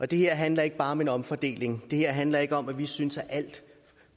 det her handler ikke bare om en omfordeling det her handler ikke om at vi synes at al